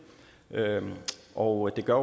og det gør